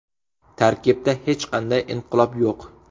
Tarkibda hech qanday inqilob yo‘q.